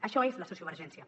això és la sociovergència